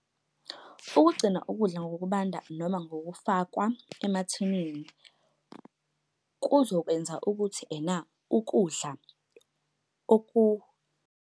Ukugcina ukudla ngokubanda noma ngokufakwa emathinini kuzokwenza ukuthi ena ukudla .